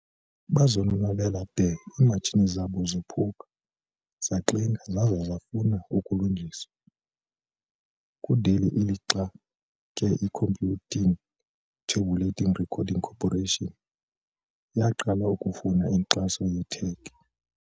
Bazonwabela de imatshini zabo zophuka, zaxinga, zaza zafuna ukulungiswa. kundeli lixa ke i-Computing Tabulating Recording Corporation yaqala ukufuna inkxaso ye-tech.